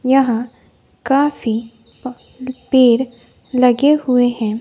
यहां काफी प पेड़ लगे हुए हैं।